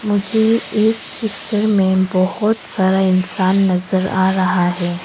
मुझे इस पिक्चर में बहोत सारा इंसान नजर आ रहा है।